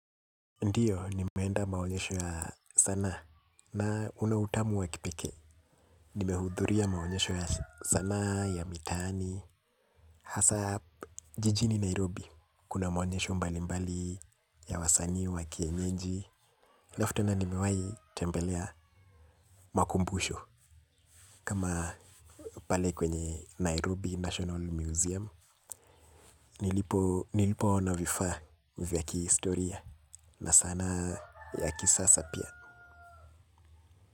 Ndiyo, nimeenda maonyesho ya sanaa na unautamu wa kipekee. Nimehudhuria maonyesho ya sanaa, ya mitaani. Hasa hapa, jijini Nairobi. Kuna maonyesho mbali mbali, ya wa sanii, wakienyeji. Alafu tena nimewahi tembelea makumbusho. Kama pale kwenye Nairobi National Museum. Nilipo, nilipo ono vifaa vya ki historia. Na sanaa ya ki sasa pia.